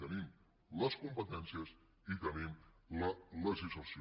tenim les competències i tenim la legislació